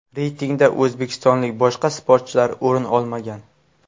Reytingda o‘zbekistonlik boshqa sportchilar o‘rin olmagan.